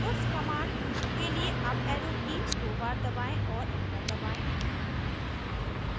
puts command के लिए up arrow की दो बार दबाएं और एंटर दबाएं